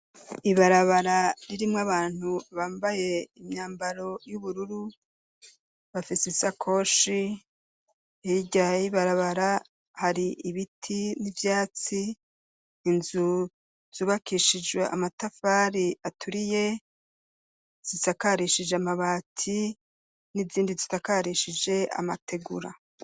Ibarabara, ririmwo abantu, bambaye imyambaro y'ubururu, bafise isakoshi; hirya y'ibarabara, hari ibiti n'ivyatsi, inzu, zubakishije amatafari aturiye; zisakarishije amabati, n'izindi zisakarishije amategura.